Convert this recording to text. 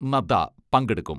നദ്ദ പങ്കെടുക്കും.